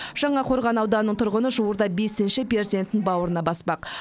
жаңақорған ауданының тұрғыны жуырда бесінші перзентін бауырына баспақ